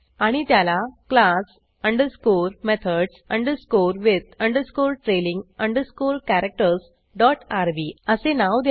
आणि त्याला class underscore methods underscore with underscore trailing underscore characters dot R B असे नाव द्या